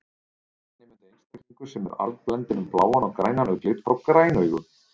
Þannig mundi einstaklingur sem er arfblendinn um bláan og grænan augnlit fá græn augu.